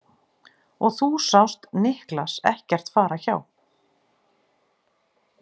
Og þú sást Niklas ekkert fara hjá?